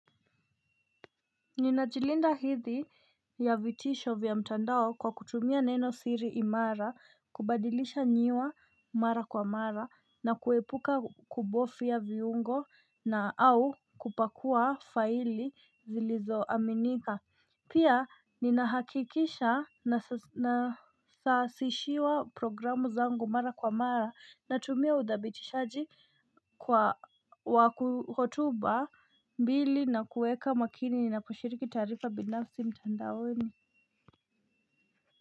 Ninajilinda hidhi ya vitisho vya mtandao kwa kutumia neno siri imara, kubadilisha nyiwa mara kwa mara, na kuepuka kubofia viungo na au kupakua faili zilizo aminika. Pia ninahakikisha nasasishiwa programu zangu mara kwa mara natumia udhabitishaji kwa wa kuhotuba mbili na kueka makini na kushiriki taarifa binafsi mtandaoni.